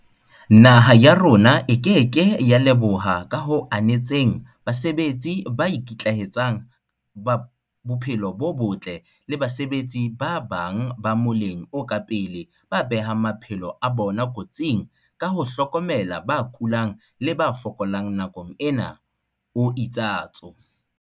"Naha ya rona e ke ke ya leboha ka ho anetseng basebetsi ba ikitlaetsang ba bophelo bo botle le basebetsi ba bang ba moleng o ka pele ba behang maphelo a bona kotsing ka ho hlokomela ba kulang le ba fokolang nakong ena," o itsatso.